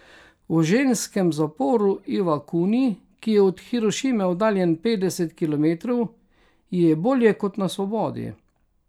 V ženskem zaporu Ivakuni, ki je od Hirošime oddaljen petdeset kilometrov, ji je bolje kot na svobodi.